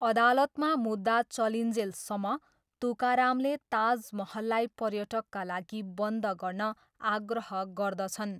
अदालतमा मुद्दा चलिन्जेलसम्म तुकारामले ताजमहललाई पर्यटकका लागि बन्द गर्न आग्रह गर्दछन्।